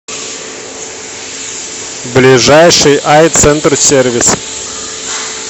ближайший айцентрсервис